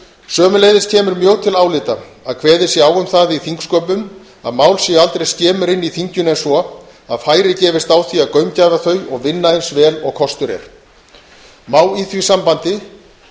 sömuleiðis kemur mjög til álita að kveðið sé á um það í þingsköpum að mál séu aldrei skemur inni í þinginu en svo að færi gefist á því að gaumgæfa þau og vinna eins vel og kostur er má í því sambandi